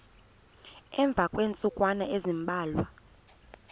emva kweentsukwana ezimbalwa